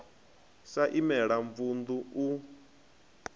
sa i imela mavunḓu u